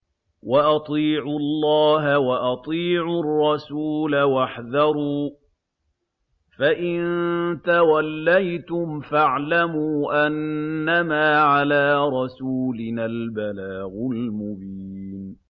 وَأَطِيعُوا اللَّهَ وَأَطِيعُوا الرَّسُولَ وَاحْذَرُوا ۚ فَإِن تَوَلَّيْتُمْ فَاعْلَمُوا أَنَّمَا عَلَىٰ رَسُولِنَا الْبَلَاغُ الْمُبِينُ